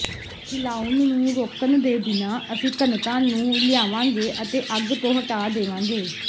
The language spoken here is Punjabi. ਹਿਲਾਉਣ ਨੂੰ ਰੋਕਣ ਦੇ ਬਿਨਾਂ ਅਸੀਂ ਘਣਤਾ ਨੂੰ ਲਿਆਵਾਂਗੇ ਅਤੇ ਅੱਗ ਤੋਂ ਹਟਾ ਦੇਵਾਂਗੇ